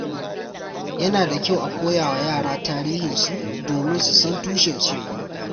Yana da kyau a koya wa yara tarihinsu domin su san tushensu.